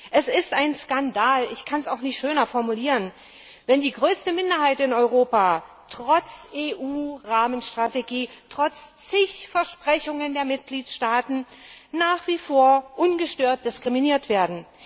Es ist ein Skandal ich kann es auch nicht schöner formulieren wenn die größte Minderheit in Europa trotz EU Rahmenstrategie, trotz vielfacher Versprechungen der Mitgliedstaaten nach wie vor ungestört diskriminiert wird!